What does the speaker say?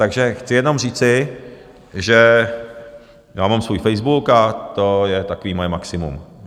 Takže chci jenom říci, že já mám svůj facebook a to je takové moje maximum.